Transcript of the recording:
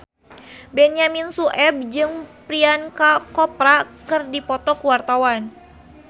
Benyamin Sueb jeung Priyanka Chopra keur dipoto ku wartawan